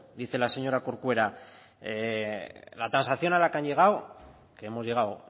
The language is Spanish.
dice la señora corcuera la transacción a la que han llegado que hemos llegado